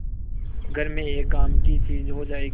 घर में एक काम की चीज हो जाएगी